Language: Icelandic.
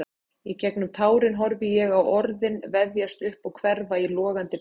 Í gegnum tárin horfði ég á orðin vefjast upp og hverfa í logandi bálið.